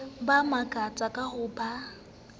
ba makatsa ka ha ba